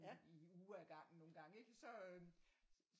I uge af gangen nogengange ikke så øh